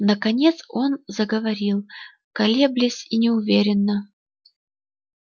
наконец он заговорил колеблись и неуверенно